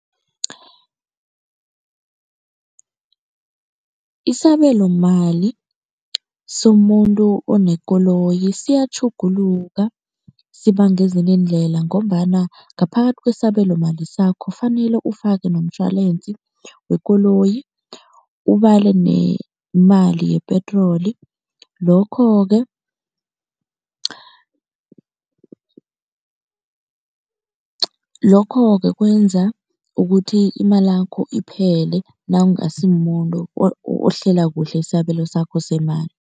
Isabelomali somuntu onekoloyi siyatjhuguluka, sibanga ezinye iindlela ngombana ngaphakathi kwesabelomali sakho ufanele ufake noshwalensi wekoloyi, ubale nemali yepetroli. Lokho-ke lokho-ke kwenza ukuthi imalakho iphele nawungasi muntu ohlela kuhle isabelo sakho semali.